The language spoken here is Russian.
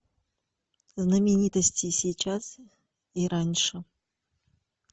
знаменитости сейчас и раньше